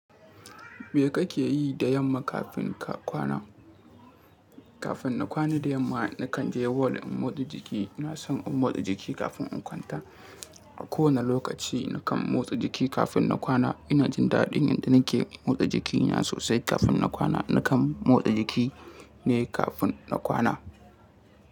Me kake yi da yamma kafin ka kwana? Kafin na kwana da yamma, na kan je ball in motsa jiki. Ina son in motsa jiki kafin in kwanta. A kowane lokaci nikan motsa jiki kafin na kwana. Ina jin daɗin yadda na ke motsa jikina sosai kafin na kwana. Na kan motsa jiki ne kafin na kwana.